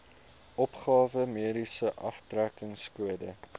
opgawe mediese aftrekkingskode